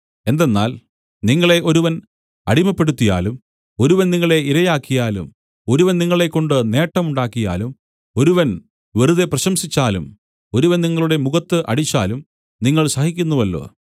എന്തെന്നാൽ നിങ്ങളെ ഒരുവൻ അടിമപ്പെടുത്തിയാലും ഒരുവൻ നിങ്ങളെ ഇരയാക്കിയാലും ഒരുവൻ നിങ്ങളെക്കൊണ്ട് നേട്ടം ഉണ്ടാക്കിയാലും ഒരുവൻ വെറുതെ പ്രശംസിച്ചാലും ഒരുവൻ നിങ്ങളുടെ മുഖത്ത് അടിച്ചാലും നിങ്ങൾ സഹിക്കുന്നുവല്ലോ